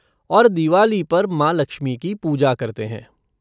और दिवाली पर माँ लक्ष्मी की पूजा करते हैं।